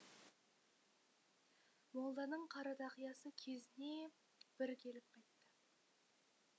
молданың қара тақиясы кезіне бір келіп қайтты